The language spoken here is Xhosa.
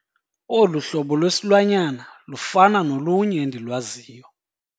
Olu hlobo lwesilwanyana lufana nolunye endilwaziyo.